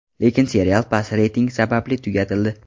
Lekin serial past reyting sababli tugatildi.